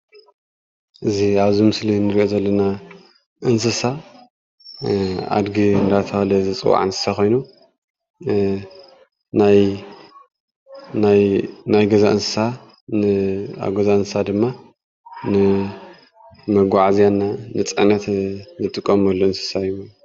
እዚ ኣብዚ ምስሊ እንርእዮ ዘለና እንስሳ ኣድጊ እንዳተብሃለ ዝፅዋዕ እንስሳ ኮይኑ ናይ ገዛ እንስሳ ኣብ ገዛ እንስሳ ድማ ንመጓዓዝያን ንፅዕነት እንጥቀመሉ እንስሳ እዩ።